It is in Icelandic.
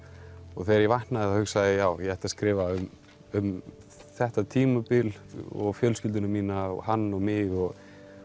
og þegar ég vaknaði þá hugsaði ég já ég ætla að skrifa um um þetta tímabil og fjölskylduna mína og hann og mig og